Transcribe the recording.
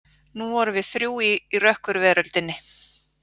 Nú vorum við þrjú í rökkurveröldinni.